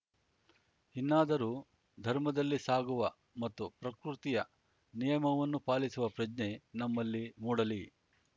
ಇನ್ನಾದರೂ ಧರ್ಮದಲ್ಲಿ ಸಾಗುವ ಮತ್ತು ಪ್ರಕೃತಿಯ ನಿಯಮವನ್ನು ಪಾಲಿಸುವ ಪ್ರಜ್ಞೆ ನಮ್ಮಲ್ಲಿ ಮೂಡಲಿ